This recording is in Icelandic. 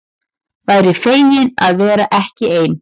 Væri fegin að vera ekki ein.